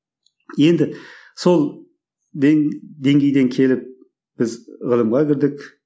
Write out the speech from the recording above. енді сол деңгейден келіп біз ғылымға кірдік